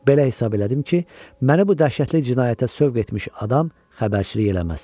Belə hesab elədim ki, məni bu dəhşətli cinayətə sövq etmiş adam xəbərçilik eləməz.